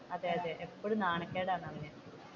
അതെ അതെ ഇപ്പോഴും നാണക്കേടായിരുന്നു അവനു